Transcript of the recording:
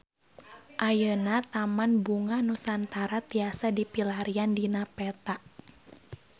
Ayeuna Taman Bunga Nusantara tiasa dipilarian dina peta